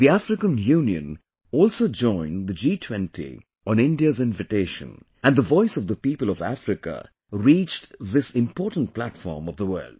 The African Union also joined the G20 on India's invitation and the voice of the people of Africa reached this important platform of the world